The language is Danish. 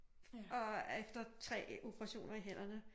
Og efter 3 operationer i hænderne